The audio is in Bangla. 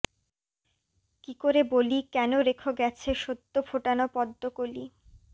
কী করে বলি কেন রেখ গেছে সদ্য ফোটানো পদ্মকলি